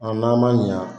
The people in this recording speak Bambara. n'an ma ɲa